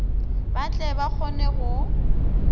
ba tle ba kgone go